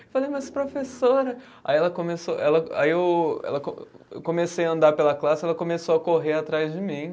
Eu falei, mas professora. Aí ela começou, ela aí eu, ela co, eu comecei a andar pela classe e ela começou a correr atrás de mim.